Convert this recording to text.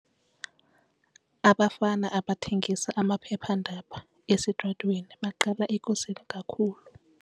Abafana abathengisa amaphephandaba esitratweni baqalisa ekuseni kakhulu.